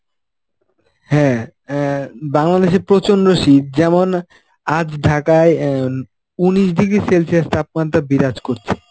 হ্যাঁ, অ্যাঁ বাংলাদেশে প্রচন্ড শীত যেমন আজ ঢাকায় অ্যাঁ উনিশ degree celsius তাপমাত্রা বিরাজ করছে.